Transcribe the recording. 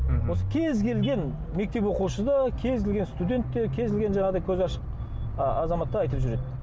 мхм осы кез келген мектеп оқушы да кез келген студент те кез келген жаңағыдай көзі ашық азамат та айтып жүреді